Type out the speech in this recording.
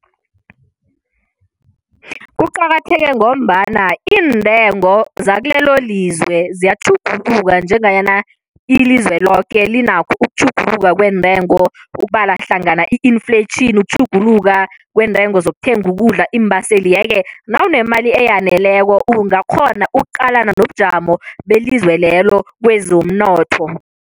Kuqakatheke ngombana iintengo zekulelo lizwe ziyatjhuguluka njenganyana ilizwe loke linakho ukutjhuguluka kweentengo, ukubala hlangana i-inflation, ukutjhuguluka kweentengo zokuthenga ukudla, iimbaseli, yeke nawunemali eyaneleko ungakghona ukuqalana nobujamo belizwe lelo kwezomnotho.